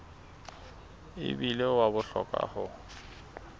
e bile wa bohlokwa ho